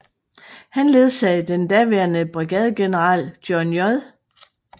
Han ledsagede den daværende brigadegeneral John J